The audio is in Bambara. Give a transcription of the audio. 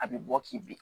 A bɛ bɔ k'i bi